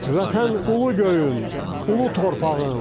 Vətən ulu göyüm, ulu torpağım.